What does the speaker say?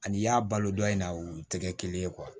Ani i y'a balo dɔn in na u tɛ kɛ kelen ye